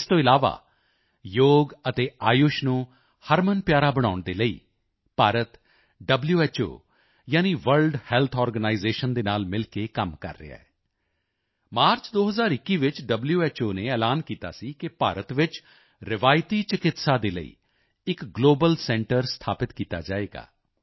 ਇਸ ਤੋਂ ਇਲਾਵਾ ਯੋਗ ਅਤੇ ਆਯੁਸ਼ ਨੂੰ ਹਰਮਨਪਿਆਰਾ ਬਣਾਉਣ ਦੇ ਲਈ ਭਾਰਤ ਵ੍ਹੋ ਯਾਨੀ ਵਰਲਡ ਹੈਲਥ ਆਰਗੇਨਾਈਜ਼ੇਸ਼ਨ ਦੇ ਨਾਲ ਮਿਲ ਕੇ ਕੰਮ ਕਰ ਰਿਹਾ ਹੈ ਮਾਰਚ 2021 ਵਿੱਚ ਵ੍ਹੋ ਨੇ ਐਲਾਨ ਕੀਤਾ ਸੀ ਕਿ ਭਾਰਤ ਵਿੱਚ ਰਵਾਇਤੀ ਚਿਕਿੱਤਸਾ ਦੇ ਲਈ ਇੱਕ ਗਲੋਬਲ ਸੈਂਟਰ ਸਥਾਪਿਤ ਕੀਤਾ ਜਾਵੇਗਾ